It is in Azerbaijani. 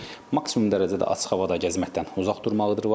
Maksimum dərəcədə açıq havada gəzməkdən uzaq durmalıdır var.